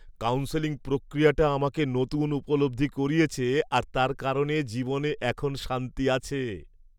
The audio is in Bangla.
কাউন্সেলিং প্রক্রিয়াটা আমাকে নতুন উপলব্ধি করিয়েছে আর তার কারণে জীবনে এখন শান্তি আছে।